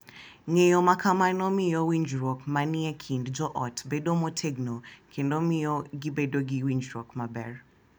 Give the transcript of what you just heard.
Ng’eyo ma kamano miyo winjruok ma ni e kind joot bedo motegno kendo miyo gibedo gi winjruok maber.